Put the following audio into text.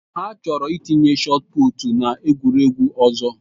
Ha chọrọ itinye shotụputụ n'egwuregwu ọzọ.